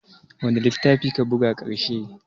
Wane littafi ka buga ƙarshe?